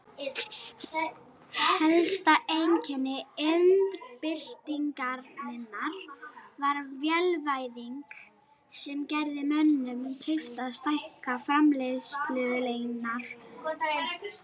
Helsta einkenni iðnbyltingarinnar var vélvæðing sem gerði mönnum kleift að stækka framleiðslueiningar og stunda verksmiðjurekstur.